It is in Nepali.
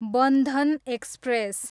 बन्धन एक्सप्रेस